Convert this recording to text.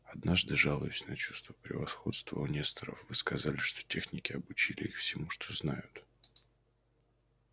однажды жалуясь на чувство превосходства у несторов вы сказали что техники обучили их всему что знают